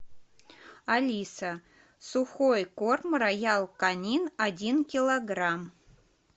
алиса сухой корм роял канин один килограмм